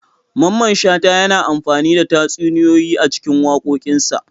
Mamman shata yana amfani da tatsuniyoyi a cikin wakokinsa.